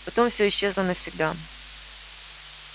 потом всё исчезло навсегда